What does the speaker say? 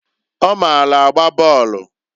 Ọ maalụ agba bọọlụ.